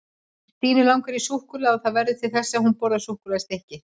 Stínu langar í súkkulaði og það verður til þess að hún borðar súkkulaðistykki.